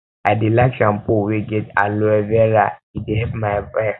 i dey like shampoo wey get aloe vera e dey help my hair